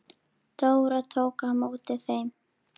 Dóra tók á móti þeim.